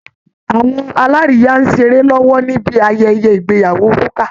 Awọn alárìíyá ń ṣeré lọ́wọ́ níbi ayẹyẹ ìgbeyàwó Rúkà